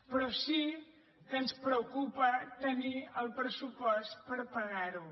però sí que ens preocupa tenir el pressupost per pagar ho